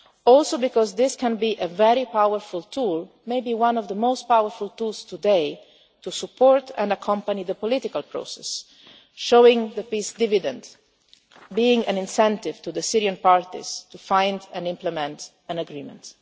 Bank. Also because this can be a very powerful tool, maybe one of the most powerful tools today, to support and accompany the political process, showing the peace dividend, being an incentive to the Syrian parties to find and implement an agreement.